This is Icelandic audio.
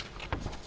höfum